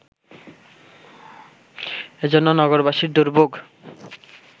এজন্য নগরবাসীর দুর্ভোগ